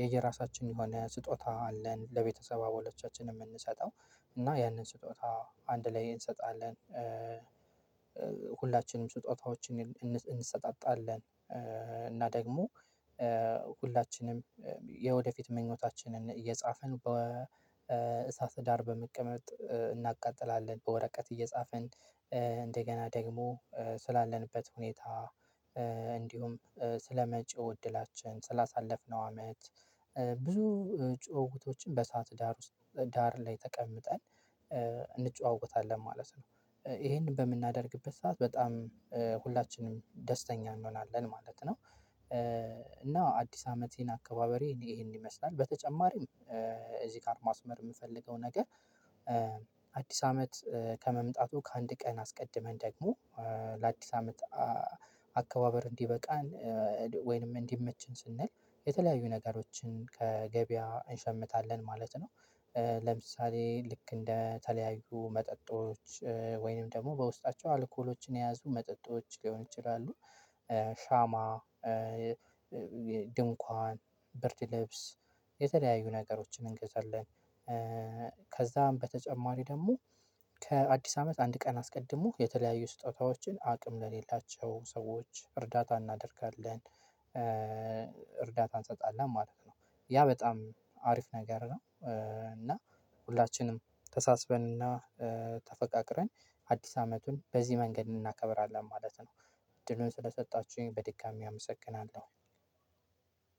የየራሳችን የሆነ ስጦታ አለን ለቤተሰብ አባሎቻችን የምንሰጠው። እና ያንን ስጦታ አንድ ላይ እንሰጣለን ስጦታዎችን እንሰጣጣለን እና ደግሞ ሁላችንም የወደፊት ምኞታችንን እየጻፍን በእሳት ዳር በመቀመጥ እናቃጥላለን በወረቀት እየጻፍን። እንደገና ደግሞ ስላለንበት ሁኔታ ስለመጪው እድላችን ስላሳለፍነው አመት። ብዙ ጭውውቶችን በእሣት ዳር ውስጥ ዳር ላይ ተቀምጠን እንጨዋወታለን ማለት ነው። ይሄንን በምናደርግበት ሰዓት በጣም ሁላችንም ደስተኛ እንሆናለን ማለት ነው። እና አዲስ አመቴን አከባበሬ ይሄን ይመስላል። በተጨማሪም እዚህ ጋር ማስመር የምፈልገው ነገር። አዲስ አመት ከመምጣቱ ከአንድ ቀን አስቀድመን ደግሞ ለአዲስ አመት አከባበር እንዲበቃን ወይንም እንዲመቸን ስንል የተለያዩ ነገሮችን ከገበያ እንሸምታለን ማለት ነው። ለምሳሌ ልክ እንደ የተለያዩ መጠጦች ወይንም ደግሞ በውስጣቸው አልኮሎችን የያዙ መጠጦች ሊሆን ይችላሉ። ሻማ ድንኳን ብርድ ልብስ የተለያዩ ነገሮችን እንገዛለን። ከዛም በተጨማሪ ደግሞ ከአዲስ አመት አንድ ቀን አስቀድሞ የተለያዩ ስጦታዎችን አቅም ለሌላቸው ሰዎች እርዳታ እናደርጋለን። እርዳታ እንሰጣለን ማለት ነው። ያ በጣም አሪፍ ነገር ነው። እና ሁላችንም ተሳስበንና ተፈቃቅረን አዲስ አመቱን በዚህ መንገድ እናከብራለን ማለት ነው። እድሉን ስለሰጣችሁኝ በድጋሚ አመሰግናለሁ።